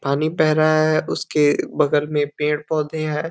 पानी बह रहा है। उसके बगल में पेड़ पौधे हैं।